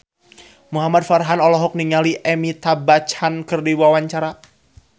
Muhamad Farhan olohok ningali Amitabh Bachchan keur diwawancara